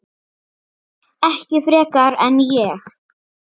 Ekki frekar en ég.